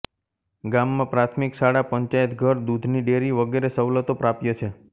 ગામમાં પ્રાથમિક શાળા પંચાયતઘર દૂધની ડેરી વગેરે સવલતો પ્રાપ્ય છે